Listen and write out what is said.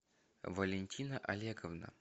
валентина олеговна